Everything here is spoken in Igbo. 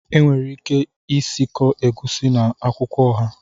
Enwere ike isikọ Egusi na akwukwo oha